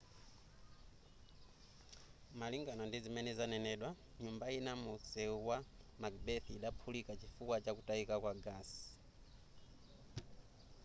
malingana ndizimene zanenedwa nyumba ina mu msewu wa macbeth idaphulika chifukwa chakutayika kwa gasi